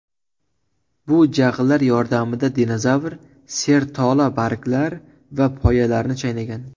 Bu jag‘lar yordamida dinozavr sertola barglar va poyalarni chaynagan.